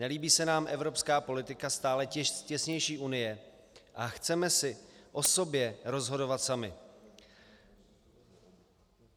Nelíbí se nám evropská politika stále těsnější Unie a chceme si o sobě rozhodovat sami.